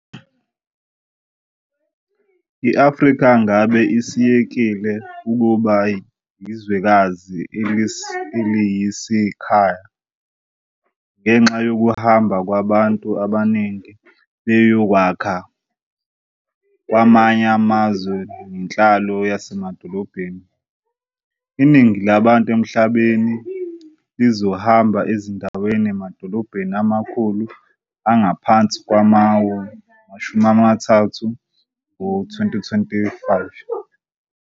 I-Afrika ngabe isiyekile ukuba 'yi-zwekazi eliyisikhaya' ngenxa yokuhamba kwabantu ngobuningi beyokwakha kwamanye amazwe nenhlalo yasemadolobheni. Iningi labantu emhlabeni lizohlala ezindaweni emadolobheni amakhulu angaphansi kwama-30 ngo-2025.